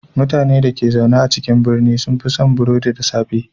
Mutanen dake zaune a birane sun fi cin burodi da safe.